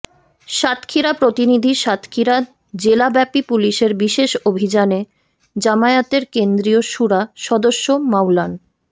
সাতক্ষীরা প্রতিনিধি সাতক্ষীরা জেলাব্যাপী পুলিশের বিশেষ অভিযানে জামায়াতের কেন্দ্রীয় শুরা সদস্য মাওলান